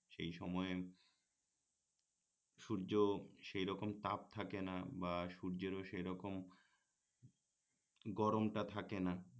সেই সময়ে সূর্য সেই রকম তাপ থাকে না বা সূর্যেরও সেই রকম গরমটা থাকে না